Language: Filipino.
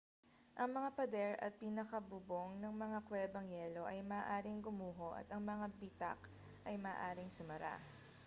ang mga pader at pinakabubong ng mga kwebang yelo ay maaaring gumuho at ang mga bitak ay maaaring sumara